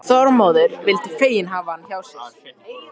Þormóður vildu fegin hafa hann hjá sér.